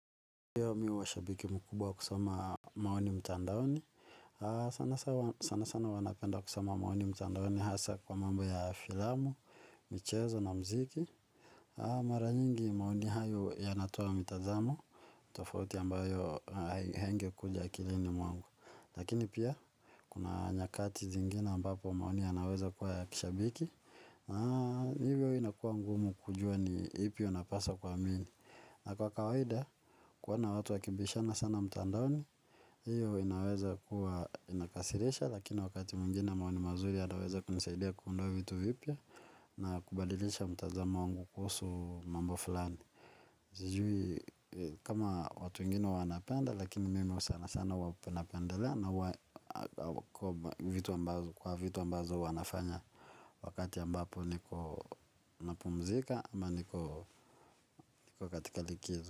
Kitu ambayo ni hasa kwa mambo ya filamu, michezo na mziki. Mara nyingi maoni hayo yanatoa mitazamo tofauti ambayo haingekuja akilini mwangu. Lakini pia kuna nyakati zingine ambapo maoni yanaweza kuwa ya kishabiki na hivyo inakuwa ngumu kujua ni ipi unapaswa kuamini. Na kwa kawaida, kuona watu wakibishana sana mtandaoni, hiyo inaweza kuwa inakasirisha, lakini wakati mwingina maoni mazuri yanaweza kunisaidia kuunda vitu vipya na kubadilisha mtazamo wangu kuhusu mambo fulani. Sijui kama watu wengine wanapenda lakini mimi sana sana sana huwa napendelea na huwa naogopa kwa vitu ambazo huwa nafanya wakati ambapo niko napumzika ama niko katika likizo.